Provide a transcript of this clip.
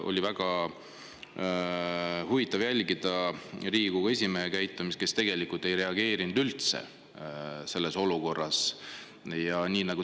Oli väga huvitav jälgida Riigikogu esimehe käitumist, kes selles olukorras tegelikult üldse ei reageerinud.